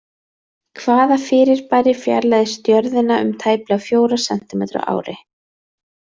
Hvaða fyrirbæri fjarlægist Jörðina um tæplega fjóra sentímetra á ári?